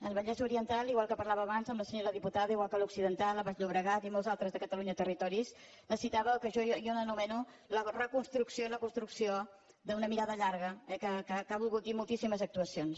el vallès oriental igual que parlava abans amb la senyora diputada igual que l’occidental el baix llobregat i molts altres de catalunya territoris necessitava això que jo anomeno la reconstrucció i la construcció d’una mirada llarga que ha volgut dir moltíssimes actuacions